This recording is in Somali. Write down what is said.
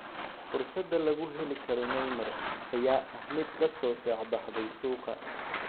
Fursada lagu heli karo Neymar ayaa ah mid ka soo shaac baxday suuqa.